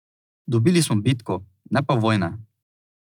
Dobili smo bitko, ne pa vojne.